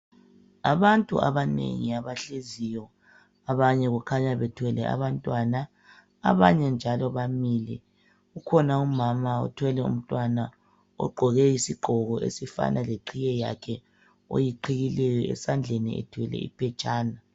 Abantu abanengi abahleziyo abanye kukhanya bethwele abantwana. Abanye njalo bamile ukhona umama othwele umntwana ogqoke isigqoko esifana leqhiye yakhe oyiqhiyileyo, esandleni kukhanya ethwele iphetshana.